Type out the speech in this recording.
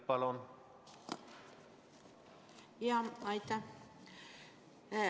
Aitäh!